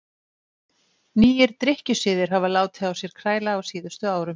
nýir drykkjusiðir hafa látið á sér kræla á síðustu árum